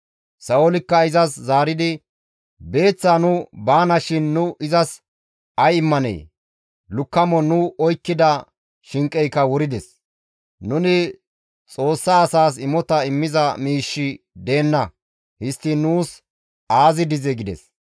Sa7oolikka izas zaaridi, «Beeththaa nu baanashin nu izas ay immanee? Lukkamon nu oykkida shinqeyka wurides; nuni Xoossa asaas imota immiza miishshi deenna; histtiin nuus aazi dizee?» gides.